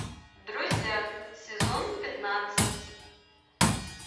друзья сезон пятнадцать